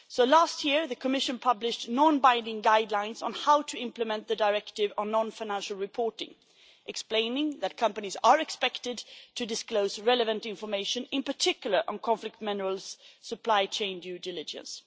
Last year, the Commission published non binding guidelines on how to implement the directive on non financial reporting, explaining that companies are expected to disclose relevant information, in particular on conflict mineral supply chain due diligence.